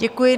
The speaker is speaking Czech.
Děkuji.